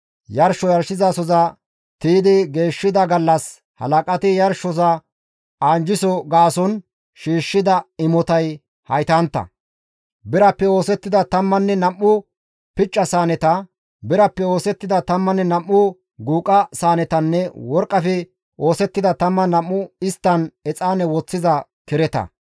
Yarsho yarshizasoza tiydi geeshshida gallas halaqati yarshosoza anjjiso gaason shiishshida imotay haytantta; birappe oosettida 12 picca saaneta, birappe oosettida 12 guuqa saanetanne worqqafe oosettida isttan exaane woththiza 12 kereta.